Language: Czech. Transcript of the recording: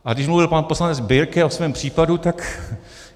A když mluvil pan poslanec Birke o svém případu, tak...